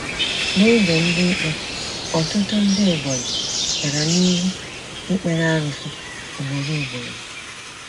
N’oge Ndị Ikpe, ọtụtụ ndị Ebonyi gara n'ihu ikpere arụsị ugboro ugboro.